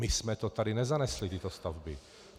My jsme to tady nezanesli, tyto stavby.